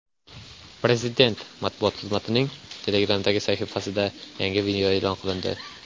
Prezident matbuot xizmatining Telegram’dagi sahifasida yangi video e’lon qilindi .